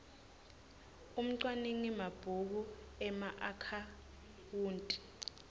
umcwaningi mabhuku emaakhawunti